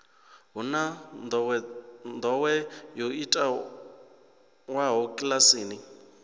hu na ndowendowe yo itiwaho kilasini